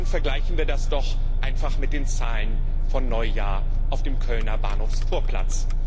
Vergleichen wir das doch einfach mit den Zahlen von Neujahr auf dem Kölner Bahnhofsvorplatz.